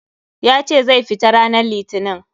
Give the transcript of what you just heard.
Ya ce zai fita ranan litinin.